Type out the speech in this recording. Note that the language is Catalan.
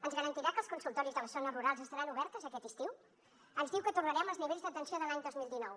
ens garantirà que els consultoris de les zones rurals estaran oberts aquest estiu ens diu que tornarem als nivells d’atenció de l’any dos mil dinou